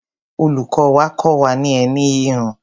Olùkọ́ wa kọ́ wa ní ẹní híhun.